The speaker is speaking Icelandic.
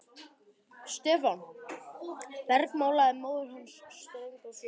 Stefán! bergmálaði móðir hans ströng á svip.